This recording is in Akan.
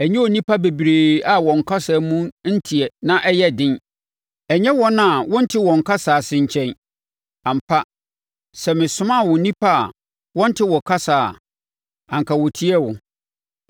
Ɛnyɛ nnipa bebree a wɔn kasa mu nteɛ na ɛyɛ den. Ɛnyɛ wɔn a wonte wɔn kasa ase nkyɛn. Ampa, sɛ mesomaa wo nnipa a wɔnte wo kasa a, anka wɔtiee wo.